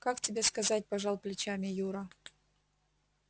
как тебе сказать пожал плечами юра